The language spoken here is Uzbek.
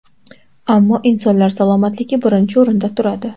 Ammo insonlar salomatligi birinchi o‘rinda turadi.